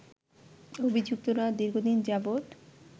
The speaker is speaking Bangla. অভিযুক্তরা দীর্ঘদিন যাবৎ